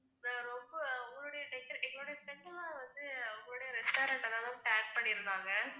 நான் ரொம்ப உங்களுடைய deco~ எங்களுடைய set எல்லாம் வந்து உங்களுடைய restaurant தான் ma'am tag பண்ணிருந்தாங்க.